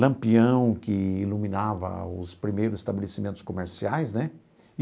Lampião que iluminava os primeiros estabelecimentos comerciais né.